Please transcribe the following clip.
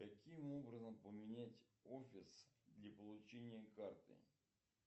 каким образом поменять офис для получения карты